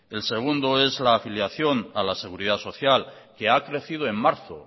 el segundo es la afiliación a la seguridad social que ha crecido en marzo